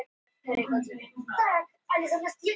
Heimild: Guðjón Ólafsson.